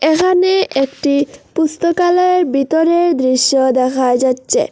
এখানে একটি পুস্তকালয়ের ভিতরের দৃশ্য দেখা যাচ্ছে।